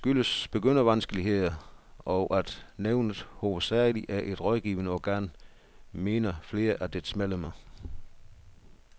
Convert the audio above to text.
Det skyldes begyndervanskeligheder, og at nævnet hovedsageligt er et rådgivende organ, mener flere af dets medlemmer.